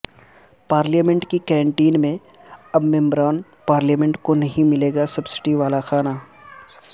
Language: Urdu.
پارلیمنٹ کی کینٹین میں اب ممبران پارلیمنٹ کو نہیں ملے گا سبسڈی والاکھانا